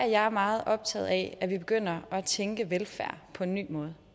jeg er meget optaget af at vi begynder at tænke velfærd på en ny måde